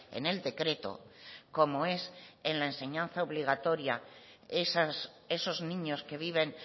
en el decreto como es en la enseñanza obligatoria esos niños que viven